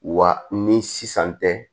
Wa ni sisan tɛ